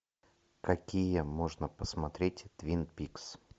какие можно посмотреть твин пикс